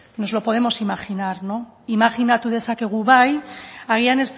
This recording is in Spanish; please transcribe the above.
nos lo podemos imaginar no imajinatu dezakegu bai agian